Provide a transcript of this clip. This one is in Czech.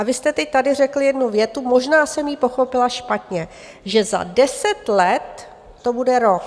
A vy jste teď tady řekl jednu větu, možná jsem ji pochopila špatně, že za deset let to bude rok.